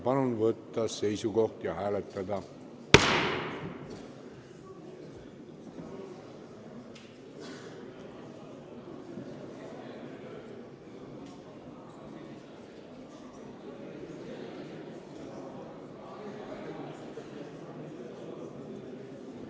Palun võtta seisukoht ja hääletada!